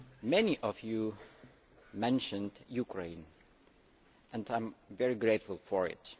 Many of you mentioned Ukraine and I am very grateful for this.